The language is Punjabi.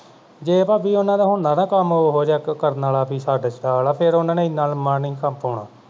ਜੇ ਭਾਬੀ ਉਹਨਾਂ ਦਾ ਹੁਣ ਨਾਨਾ ਕੰਮ ਉਹ ਜਿਹਾ ਕਰਨ ਵਾਲਾ ਬਈ ਛੱਡ-ਛਡਾ ਵਾਲਾ ਫੇਰ ਉਨ੍ਹਾਂ ਨੇ ਇਨ੍ਹਾਂ ਲੰਮਾ ਨਹੀਂ ਸੀ ਕਾਂਮ ਪਾਉਣਾ